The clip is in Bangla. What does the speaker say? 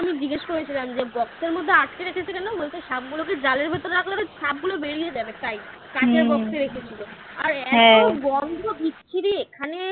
আমি জিজ্ঞেস করেছিলাম যে box এর মধ্যে আটকে রেখেছে কেন? বলছে সাপগুলোকে জালের মধ্যে রাখলে সাপগুলো বেরিয়ে যাবে তাই কাঠের box রেখেছিল আর এত গন্ধ বিচ্ছিরি এখানে